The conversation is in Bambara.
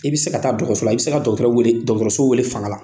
I bɛ se ka taa don kaso la. I bɛ se ka dɔgɔtɔrɔ wele dɔgɔtɔrɔso wele fanga la.